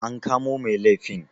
an kamo Mai liafin?